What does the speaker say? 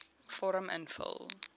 vorm invul